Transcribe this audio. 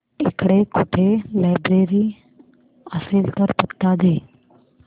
इकडे कुठे लायब्रेरी असेल तर पत्ता दे